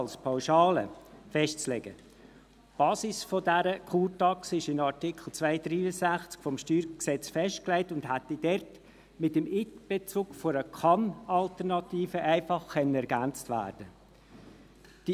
Die Basis dieser Kurtaxe ist in Artikel 263 des Steuergesetzes (StG) festgelegt und hätte dort mit dem Einbezug einer Kann-Alternative einfach ergänzt werden können.